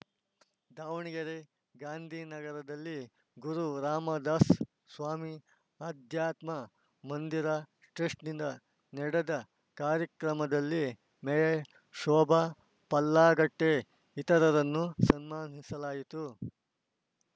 ದಾವಣಗೆರೆ ಗಾಂಧಿ ನಗರದಲ್ಲಿ ಗುರು ರಾಮದಾಸ ಸ್ವಾಮಿ ಆಧ್ಯಾತ್ಮ ಮಂದಿರ ಟ್ರಸ್ಟ್‌ನಿಂದ ನಡೆದ ಕಾರ್ಯಕ್ರಮದಲ್ಲಿ ಮೇಯರ್‌ ಶೋಭಾ ಪಲ್ಲಾಗಟ್ಟೆ ಇತರರನ್ನು ಸನ್ಮಾನಿಸಲಾಯಿತು